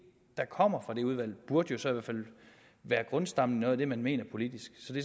der kommer fra det udvalg burde jo så i hvert fald være grundstammen i noget af det man mener politisk så det